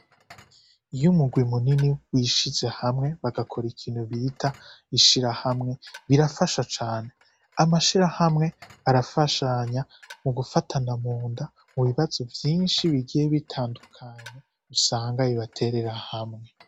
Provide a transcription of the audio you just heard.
Iyo umugwi munini wishize hamwe bagakora ikintu bita ishira hamwe birafasha cane amashira hamwe arafashanya mu gufatana mu nda mu bibazo vyinshi bigiye bitandukanya usangaye baterera hamwe.